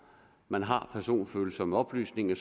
man har personfølsomme oplysninger